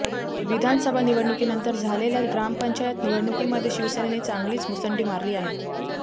विधानसभा निवडणुकीनंतर झालेल्या ग्रामपंचायत निवडणुकीमध्ये शिवसेनेने चांगलीच मुसंडी मारली आहे